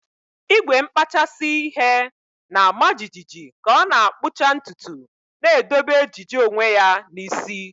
Igwe nkpachasị ihe na-ama jijiji ka ọ na-akpụcha ntutu, na-edobe ejiji onwe ya n'isi.